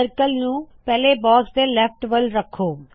circle ਨੂ ਪਹਲੇ box ਦੇ ਲੇਫਟ ਵਲ ਰੱਖੋ